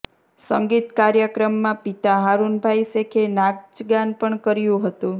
સંગીત કાર્યક્રમમાં પિતા હારૂનભાઇ શેખે નાચગાન પણ કર્યું હતું